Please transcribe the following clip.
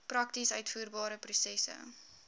prakties uitvoerbare prosesse